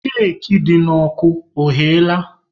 Keki dị n'ọkụ ọghela?